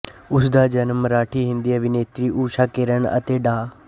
ਉਸ ਦਾ ਜਨਮ ਮਰਾਠੀਹਿੰਦੀ ਅਭਿਨੇਤਰੀ ਊਸ਼ਾ ਕਿਰਨ ਅਤੇ ਡਾ